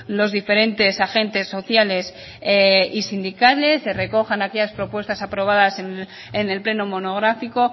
los diferentes agentes sociales y sindicales se recojan aquellas propuestas aprobadas en el pleno monográfico